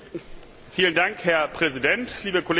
Herr Präsident, liebe Kolleginnen und Kollegen!